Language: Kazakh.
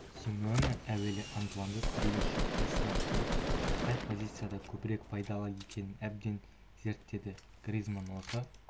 симеоне әуелі антуанды түрлі шепте сынап көріп қай позицияда көбірек пайдалы екенін әбден зерттеді гризманн осы